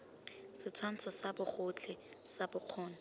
setshwantsho sa bogotlhe sa bokgoni